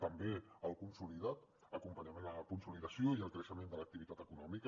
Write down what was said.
també el consolida acompanyament a la consolidació i al creixement de l’activitat econòmica